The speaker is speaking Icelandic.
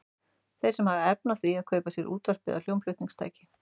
Þeir sem hafa efni á því að kaupa sér útvarp eða hljómflutningstæki.